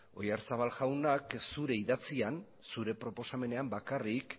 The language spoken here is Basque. oyarzabal jaunak zure idatzian zure proposamenean bakarrik